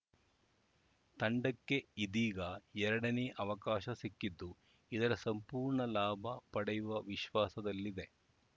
ತಂಡಕ್ಕೆ ಇದೀಗ ಎರಡನೇ ಅವಕಾಶ ಸಿಕ್ಕಿದ್ದು ಇದರ ಸಂಪೂರ್ಣ ಲಾಭ ಪಡೆಯುವ ವಿಶ್ವಾಸದಲ್ಲಿದೆ